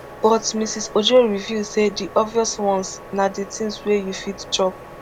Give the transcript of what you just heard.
but mrs ojo reveal say di obvious ones na di tins wey you fit chop